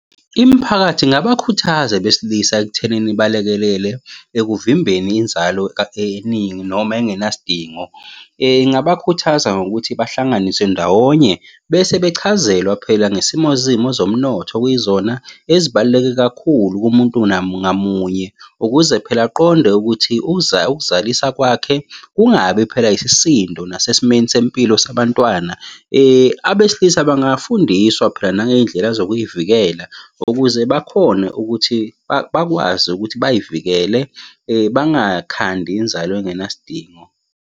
Imiphakathi ingabakhuthaza abesilisa ekuthenini balekelele ekuvimbeni inzalo eningi noma engenasidingo. Ingabakhuthaza ngokuthi bahlanganiswe ndawonye, bese bechazelwa phela ngesimo zimo zomnotho okuyizona ezibaluleke kakhulu kumuntu, ngamunye, ukuze phela aqonde ukuthi ukuzalisa kwakhe, kungabi phela isisindo nasesimeni sempilo sabantwana. Abesilisa bangafundiswa phela nangey'ndlela zokuy'vikela ukuze bakhone ukuthi bakwazi ukuthi bay'vikele bangakhandi inzalo engenasidingo.